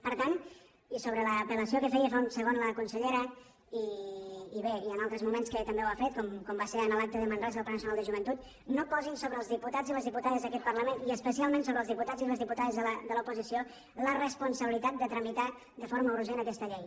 per tant i sobre l’apel·lació que feia fa un segon la consellera i bé en altres moments que també ho ha fet com va ser en l’acte de manresa del pla nacional de joventut no posin sobre els diputats i les diputades d’aquest parlament i especialment sobre els diputats i les diputades de l’oposició la responsabilitat de tramitar de forma urgent aquesta llei